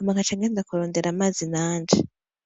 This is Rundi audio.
nkaca nja kurondera amazi nanje.